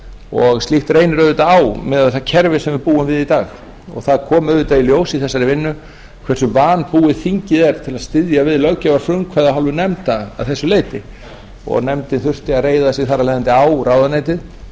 og slíkt reynir auðvitað á miðað við það kerfi sem við í dag og það kom auðvitað í ljós í þessari vinnu hversu vanbúið þingið er til að styðja við löggjafarfrumkvæði af hálfu nefndar að þessu leyti og nefndin þurfti að reiða sig þar af leiðandi á ráðuneytið